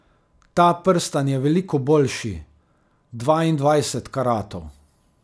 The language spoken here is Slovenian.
Ta prstan je veliko boljši, dvaindvajset karatov.